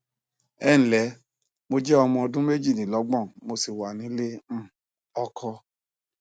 ẹǹlẹ mo jẹ ọmọ ọdún méjìdínlọgbọn mo sì wà nílé um ọkọ